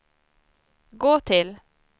gå till